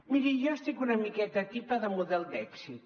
miri jo estic una miqueta tipa de model d’èxit